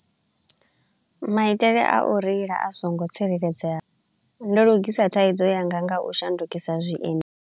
Maitele a u reila a so ngo tsireledzea, ndo lugisa thaidzo yanga nga u shandukisa zwiendi.